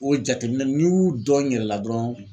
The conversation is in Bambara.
O jateminɛ n'i y'u dɔn n yɛrɛ la dɔrɔn.